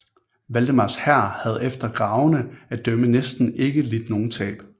Valdemars hær havde efter gravene at dømme næsten ikke lidt nogen tab